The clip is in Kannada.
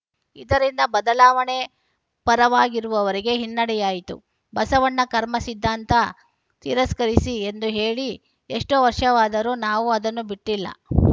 ಇದರಿಂದ ಬದಲಾವಣೆ ಪರವಾಗಿರುವವರಿಗೆ ಹಿನ್ನಡೆಯಾಯಿತು ಬಸವಣ್ಣ ಕರ್ಮ ಸಿದ್ಧಾಂತ ತಿರಸ್ಕರಿಸಿ ಎಂದು ಹೇಳಿ ಎಷ್ಟೋ ವರ್ಷವಾದರೂ ನಾವು ಅದನ್ನು ಬಿಟ್ಟಿಲ್ಲ